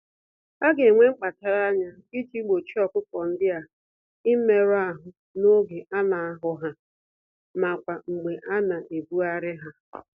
Aga enwe mkpachara ányá iji gbochie ọkụkọ ndịa imerụ ahụ n'oge ana ahọ ha, n'akwa mgbe ana-ebugharị ha.